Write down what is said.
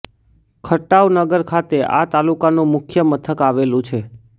ખટાવ નગર ખાતે આ તાલુકાનું મુખ્ય મથક આવેલું છે